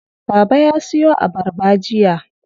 Baba ya siyo abarba jiya.